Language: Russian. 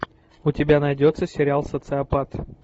у тебя найдется сериал социопат